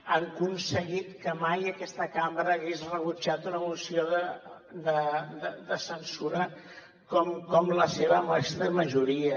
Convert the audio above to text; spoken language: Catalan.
han aconseguit que mai aquesta cambra hagués rebutjat una moció de censura com la seva amb aquesta majoria